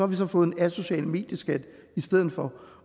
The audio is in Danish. vi så fået en asocial medieskat i stedet for